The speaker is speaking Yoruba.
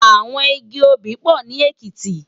Awòn igi óbì pò ni Ekiti